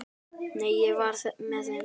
Nei, ég var með þeim.